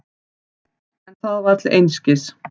En það var til einskis.